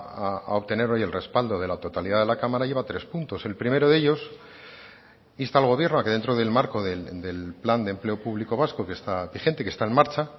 a obtener hoy el respaldo de la totalidad de la cámara lleva tres puntos el primero de ellos insta al gobierno a que dentro del marco del plan de empleo público vasco que está vigente que está en marcha